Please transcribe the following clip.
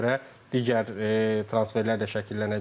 Və ona görə digər transferlər də şəkillənəcək.